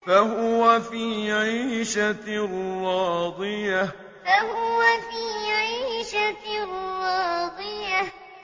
فَهُوَ فِي عِيشَةٍ رَّاضِيَةٍ فَهُوَ فِي عِيشَةٍ رَّاضِيَةٍ